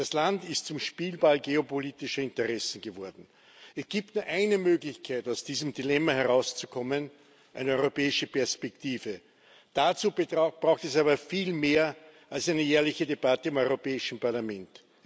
Das Land ist zum Spielball geopolitischer Interessen geworden. Es gibt nur eine Möglichkeit, aus diesem Dilemma herauszukommen eine europäische Perspektive. Dazu braucht es aber viel mehr als eine jährliche Debatte im Europäischen Parlament.